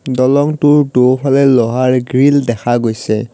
দলংটোৰ দুফালে লোহাৰ গ্ৰীল দেখা গৈছে।